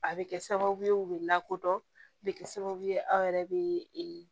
A bɛ kɛ sababu ye u bɛ lakodɔn a bɛ kɛ sababu ye aw yɛrɛ bɛ